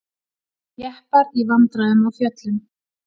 Jeppar í vandræðum á fjöllum